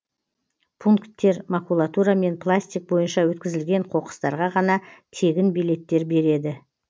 пунктер макулатура мен пластик бойынша өткізілген қоқыстарға ғана тегін билеттер береді